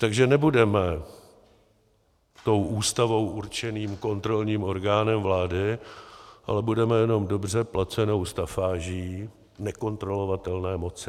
Takže nebudeme tou Ústavou určeným kontrolním orgánem vlády, ale budeme jenom dobře placenou stafáží nekontrolovatelné moci.